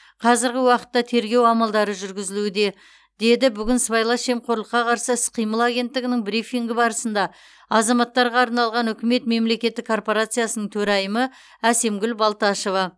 қазіргі уақытта тергеу амалдары жүргізілуде деді бүгін сыбайлас жемқорлыққа қарсы іс қимыл агенттігінің брифингі барысында азаматтарға арналған үкімет мемлекеттік корпорациясының төрайымы әсемгүл балташева